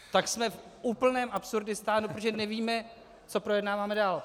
Tak jsme v úplném absurdistánu, protože nevíme, co projednáváme dál.